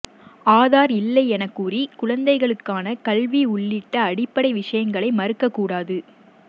ஆதார் இல்லை எனக்கூறி குழந்தைகளுக்கான கல்வி உள்ளிட்ட அடிப்படை விஷயங்களை மறுக்கக்கூடாது